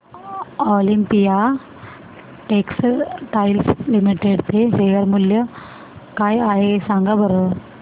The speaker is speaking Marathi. ऑलिम्पिया टेक्सटाइल्स लिमिटेड चे शेअर मूल्य काय आहे सांगा बरं